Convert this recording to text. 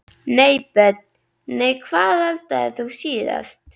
Nei Börn: Nei Hvað eldaðir þú síðast?